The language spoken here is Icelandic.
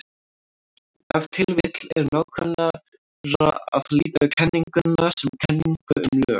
Ef til vill er nákvæmara að líta á kenninguna sem kenningu um lög.